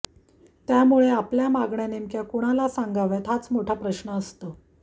त्यामुळे आपल्या मागण्या नेमक्या कुणाला सांगाव्यात हाच मोठा प्रश्न असतो